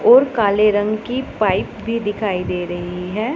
और काले रंग की पाइप भी दिखाइ दे रही है।